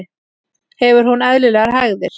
Hefur hún eðlilegar hægðir?